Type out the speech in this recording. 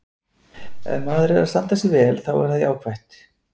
Ef maður er að standa sig vel þá er það jákvætt.